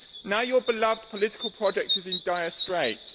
Now your beloved political project is in dire straits.